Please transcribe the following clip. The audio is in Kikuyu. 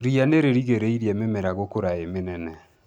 Ria nĩ rĩrigĩrĩirie mĩmera gũkũra ĩ mĩnene.